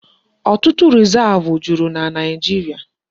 Ọtụtụ Rizavụ juru na Naijiria.